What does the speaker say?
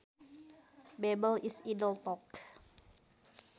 Babble is idle talk